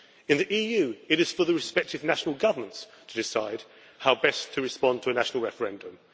In the EU it is for the respective national governments to decide how best to respond to a national referendum.